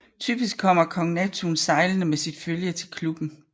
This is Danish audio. Typisk kommer Kong Neptun sejlende med sit følge til klubben